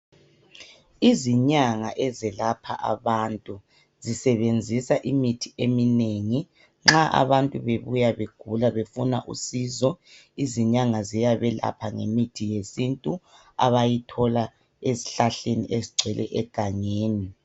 Izinyanga ezelapha abantu zisebenzisa imithi eminengi nxa abantu bebuya begula befuna usizo izinyanga ziyabe lapha ngemithi yesintu abayithola ezihlahleni ezigcwele egangeni.